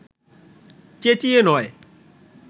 চেঁচিয়ে নয়